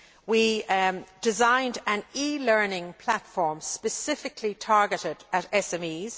We designed an e learning platform specifically targeted at SMEs.